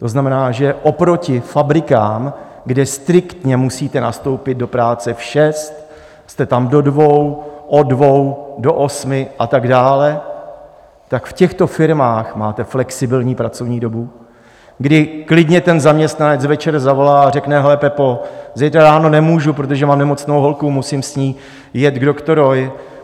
To znamená, že oproti fabrikám, kde striktně musíte nastoupit do práce v šest, jste tam do dvou, od dvou do osmi a tak dále, tak v těchto firmách máte flexibilní pracovní dobu, kdy klidně ten zaměstnanec večer zavolá a řekne: Hele, Pepo, zítra ráno nemůžu, protože mám nemocnou holku, musím s ní jet k doktorovi.